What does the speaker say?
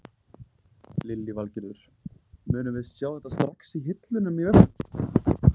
Lillý Valgerður: Munum við sjá þetta strax í hillunum í verslunum?